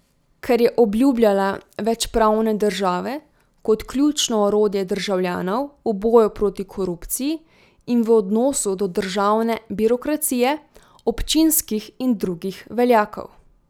Ker je obljubljala več pravne države kot ključno orodje državljanov v boju proti korupciji in v odnosu do državne birokracije, občinskih in drugih veljakov.